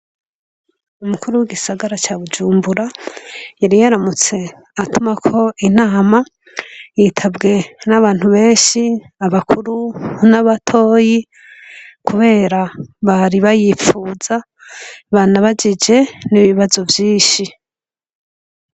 Umukuru w'igisagara ca bujumbura yari yaramutse atumako inama yitabwe n'abantu benshi, abakuru n'abatoyi kubera bari bayifuza banabajije n'ibibazo vyinshi.